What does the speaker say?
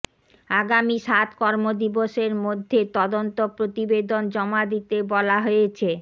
আগামী সাত কর্মদিবসের মধ্যে তদন্ত প্রতিবেদন জমা দিতে বলা হয়েছে